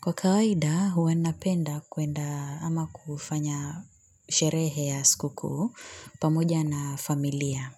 Kwa kawaida, huwa napenda kwenda ama kufanya sherehe ya sikukuu, pamoja na familia.